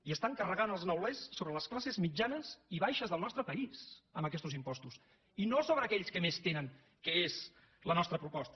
i estan carregant els neulers sobre les classes mitjanes i baixes del nostre país amb aquestos impostos i no sobre aquells que més tenen que és la nostra proposta